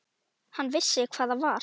Hann vissi hvað það var.